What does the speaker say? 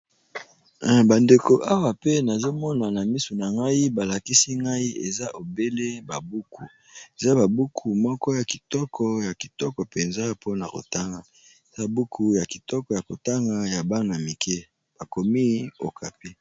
Bandeko Awa pe nazomona na miso nangai balakisi ngai obele ba buku ,eza ba buku kitoko Yako tanga ,ya Bana Mike bakomi Okapi.